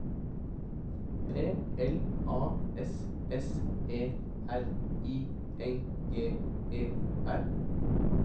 P L A S S E R I N G E R